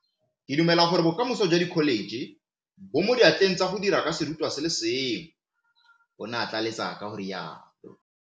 Ke dumela gore bokamoso jwa dikholetšhe bo mo diatleng tsa go dira ka serutwa se le sengwe, o ne a tlaleletsa ka go rialo.